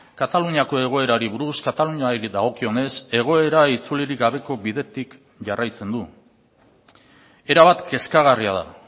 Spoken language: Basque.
kataluniako egoerari buruz kataluniari dagokionez egoera itzulirik gabeko bidetik jarraitzen du erabat kezkagarria da